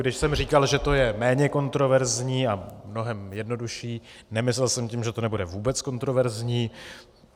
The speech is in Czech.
Když jsem říkal, že to je méně kontroverzní a mnohem jednodušší, nemyslel jsem tím, že to nebude vůbec kontroverzní.